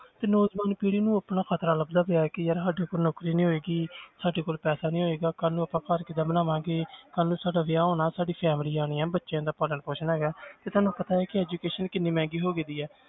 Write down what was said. ਤੇ ਨੌਜਵਾਨ ਪੀੜ੍ਹੀ ਨੂੰ ਆਪਣਾ ਖ਼ਤਰਾ ਲੱਗਦਾ ਪਿਆ ਹੈ ਕਿ ਯਾਰ ਸਾਡੇ ਕੋਲ ਨੌਕਰੀ ਨਹੀਂ ਹੋਏਗੀ ਸਾਡੇ ਕੋਲ ਪੈਸਾ ਨੀ ਹੋਏਗਾ ਕੱਲ੍ਹ ਨੂੰ ਆਪਾਂ ਘਰ ਕਿੱਦਾਂ ਬਣਾਵਾਂਗੇ ਕੱਲ੍ਹ ਨੂੰ ਸਾਡਾ ਵਿਆਹ ਹੋਣਾ ਸਾਡੀ salary ਆਉਣੀ ਹੈ ਬੱਚਿਆਂ ਦਾ ਪਾਲਣ ਪੌਸ਼ਣ ਹੈਗਾ ਹੈ ਤੇ ਤੁਹਾਨੂੰ ਪਤਾ ਹੈ ਕਿ education ਕਿੰਨੀ ਮਹਿੰਗੀ ਹੋ ਗਈ ਹੈ